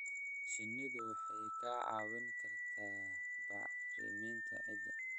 Shinnidu waxay kaa caawin kartaa bacriminta ciidda.